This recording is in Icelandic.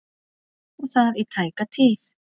Og það í tæka tíð.